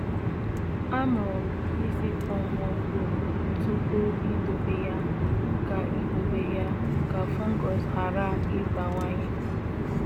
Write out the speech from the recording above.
Amụrụ m isi kpọnwụọ mkpụrụ tupu idobe ya ka idobe ya ka fungus ghara ịbawanye